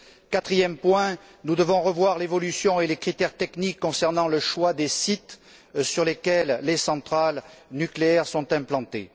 Quatrième point, nous devons revoir l'évolution et les critères techniques concernant le choix des sites sur lesquels les centrales nucléaires sont implantées.